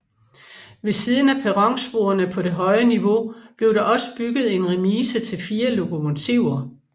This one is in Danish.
Ved siden af perronsporene på det høje niveau blev der også bygget en remise til fire lokomotiver